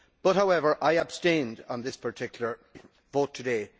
However, I abstained on this particular vote today.